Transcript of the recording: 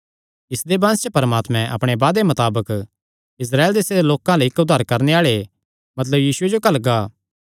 इसदे वंश च परमात्मे अपणे वादे मताबक इस्राएल देसे दे लोकां अल्ल इक्क उद्धार करणे आल़े मतलब यीशुये जो घल्लगा